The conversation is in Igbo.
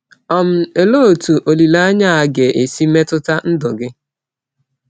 um Òlee otú olileanya a ga-esi metụta ndụ gị?